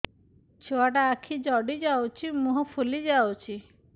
ଛୁଆଟା ଆଖି ଜଡ଼ି ଯାଉଛି ମୁହଁ ଫୁଲି ଯାଉଛି